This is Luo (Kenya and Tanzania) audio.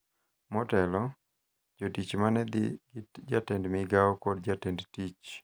Motelo, jotich ma ne dhi gi Jatend Migao kod jatend tich